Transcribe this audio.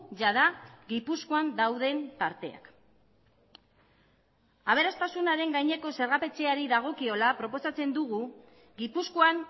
jada gipuzkoan dauden tarteak aberastasunaren gaineko zergapetzeari dagokiola proposatzen dugu gipuzkoan